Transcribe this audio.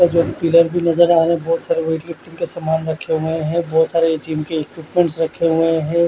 और जो पिलर भी नज़र आ रहे है बोहोत सारे वेटलिफ्टिंग क सामान रखे हुए है जिम के बहुत सारे इक्विपमेंट रखे हुए है।